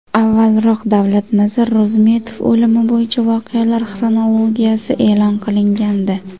Avvalroq Davlatnazar Ro‘zmetov o‘limi bo‘yicha voqealar xronologiyasi e’lon qilingandi .